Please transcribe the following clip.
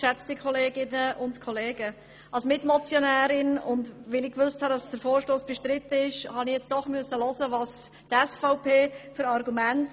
Ich spreche als Mitmotionärin, und weil der Vorstoss bestritten ist, musste ich zuerst die Argumente der SVP anhören.